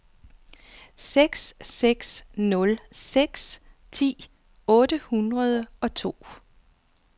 seks seks nul seks ti otte hundrede og to